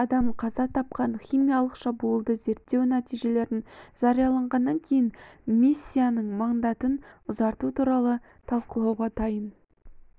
адам қаза тапқан химиялық шабуылды зерттеу нәтижелерін жариялағаннан кейін миссияның мандатын ұзарту туралы талқылауға дайын